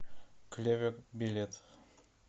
клевер билет